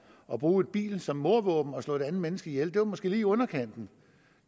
at bruge en bil som mordvåben og slå et andet menneske ihjel måske lige var i underkanten